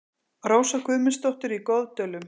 Rósa Guðmundsdóttir í Goðdölum